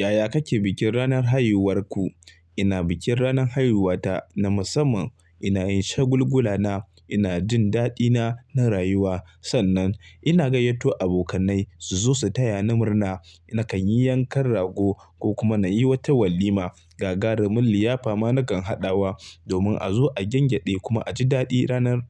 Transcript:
Yaya kake bikin ranar haihuwarku? Ina bikin ranar haihuwata na musamman. Ina yi shagulgulana, ina jin daɗina na rayuwa. Sannan ina gayyato abokanai su zo su taya ni murna. Nakan yi yankan rago ko kuma na yi wata walima. Gagarumin liyafa ma na kan haɗawa domin a zo a gengeɗe kuma a ji daɗi ranar,